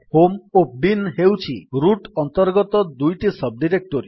home ଓ bin ହେଉଛି root ଅନ୍ତର୍ଗତ ଦୁଇଟି ସବ୍ ଡିରେକ୍ଟୋରୀ